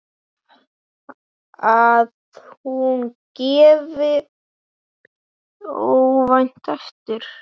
Að hún gefi óvænt eftir.